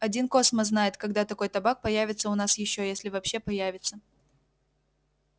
один космос знает когда такой табак появится у нас ещё если вообще появится